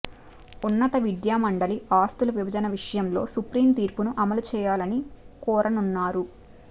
ఉన్నత విద్యా మండలి ఆస్తుల విభజన విషయంలో సుప్రీం తీర్పును అమలు చేయాలని కోరనున్నారు